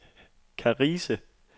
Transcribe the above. Karise